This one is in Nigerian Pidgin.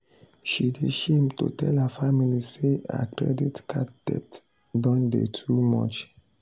she dey shame to tell her family say her credit card debt don dey too much.